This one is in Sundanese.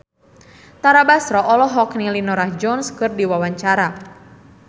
Tara Basro olohok ningali Norah Jones keur diwawancara